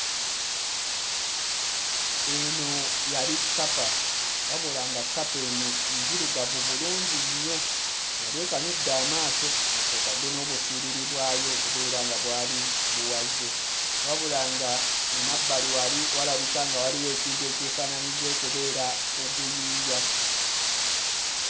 Eno yali kkapa wabula nga kkapa eno nzirugavu bulungi nnyo yali ekanudde amaaso nga kw'oteeka n'obuswiriri bwayo okubeera nga bwali buwaze wabula nga emabbali wali walabika nga waliwo ekintu ekyefaanaanyiriza okubeera oguyinja.